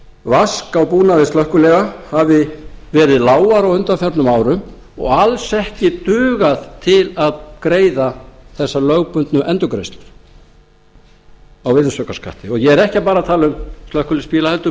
vask á búnaði slökkviliða hafi verið lágar á undanförnum árum og alls ekki dugað til að greiða þessa lögbundnu endurgreiðslu á virðisaukaskatti og ég er ekki bara að tala um slökkviliðsbíla heldur